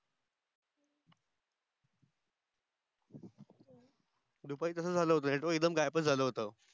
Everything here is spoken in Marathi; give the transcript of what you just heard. दुपारी तस झाल होत network एकदम गायबच झाल होत